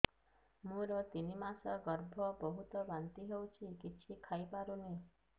ମୋର ତିନି ମାସ ଗର୍ଭ ବହୁତ ବାନ୍ତି ହେଉଛି କିଛି ଖାଇ ପାରୁନି